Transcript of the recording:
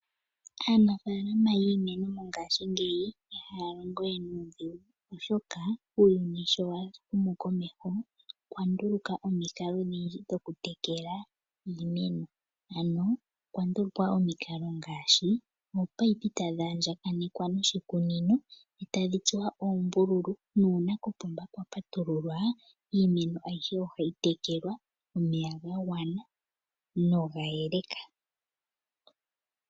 Aanafalama yiimeno mongashi ngeyi ihaya longo we nudhingu oshoka uuyuni sho wa humu komeho opandulukwa omikalo odhindji dhoku tekela iimeno, ano okwa ndulukwa omikalo ngashi ominino tadhi andjakanekwa noshikunino etadhi tsuwa uumbululu nuuna kopomba kwa patululwa iimeno ayihe ohayi tekelwa omeya ga ngwana noga yeleka.